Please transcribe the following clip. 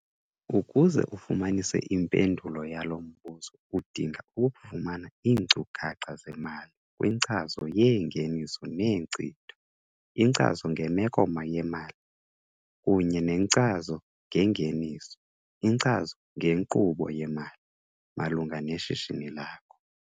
Ukuze ufumanise impendulo yalo mbuzo udinga ukufumana iinkcukacha zemali kwinkcazo yeengeniso neenkcitho, inkcazo ngemeko yemali, kunye nenkcazo ngengeniso, inkcazo ngenkqubo yemali, malunga neshishini lakho.